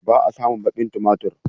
Ba a samun baƙin tumatir.